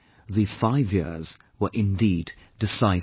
These five years were indeed decisive